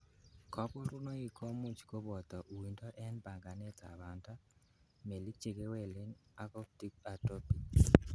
Koborunoik komuch koboto uindo en panganetab banda, melik chekewelen ak optic atrophy.